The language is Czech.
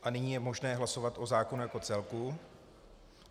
A nyní je možné hlasovat o zákonu jako celku.